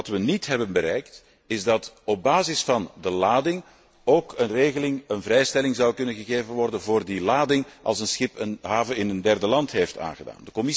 Wat we niet hebben bereikt, is dat op basis van de lading ook een regeling, een vrijstelling, kan worden gegeven voor die lading als een schip een haven in een derde land heeft aangedaan.